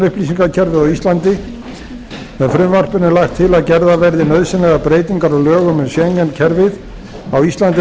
upplýsingakerfið á íslandi með frumvarpinu er lagt til að gerðar verði nauðsynlegar breytingar á lögum um schengen kerfið á íslandi